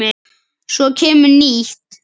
Svo kemur nýtt.